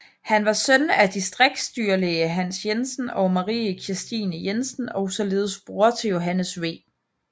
Han var søn af distriksdyrlæge Hans Jensen og Marie Kirstine Jensen og således bror til Johannes V